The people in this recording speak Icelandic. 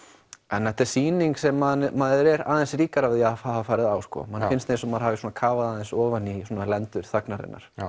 þetta er sýning sem maður er aðeins ríkari að hafa farið á manni finnst eins og maður hafi kafað ofan í lendur þagnarinnar